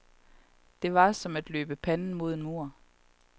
Det var som at løbe panden i mod en mur.